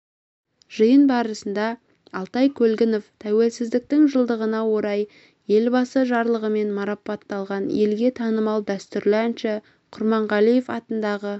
жиын барысында алтай көлгінов тәуелсіздіктің жылдығына орай елбасы жарлығымен марапатталған елге танымал дәстүрлі әнші құрманғалиев атындағы